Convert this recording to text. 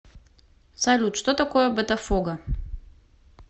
салют что такое ботафого